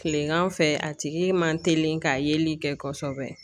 Kilegan fɛ a tigi man teli ka yeli kɛ kɔsɔbɛ.